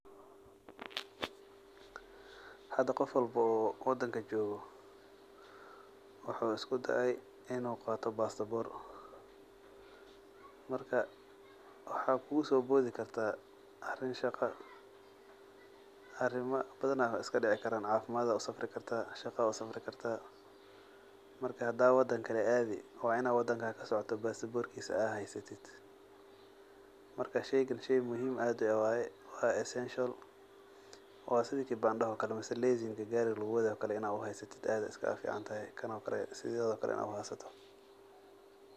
Hada qof walbo oo wadanka jgo wuxu iskudaay inu qato basabor marka waxa kugusobodi karta arin shaqa arima badan iskadici karan cafimad usafri karta shaqa usafri karta marka hda wadan kale adi waina basaborkisa ad heysatis marka wa shey muhhim ah in ad heysatid wa essential wa sidii kibandaha oo kale ama lesenka gari luguwadayo kano kale in ad heysatid aa uficantahay.